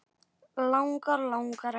Langar, langar ekki.